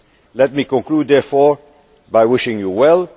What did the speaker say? change. Let me conclude, therefore, by wishing you